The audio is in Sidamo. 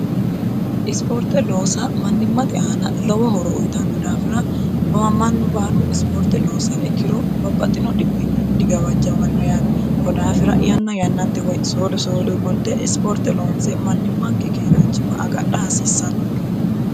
isipoorte loosa mannimmate aana lowo horo uyitanno daafira mannu baalu isipoorte loonsiha ikkiro babbaxino dhibbinni digawajjmanno yaate kodaafira yanna yannante woy soodo soodo gunte isipoorte loonse mannimmanke keeraanchima agadha haasiissannooke.